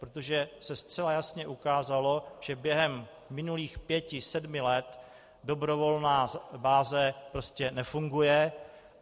Protože se zcela jasně ukázalo, že během minulých pěti, sedmi let dobrovolná báze prostě nefunguje.